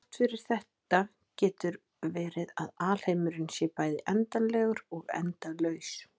Þrátt fyrir þetta getur verið að alheimurinn sé bæði endanlegur og endalaus.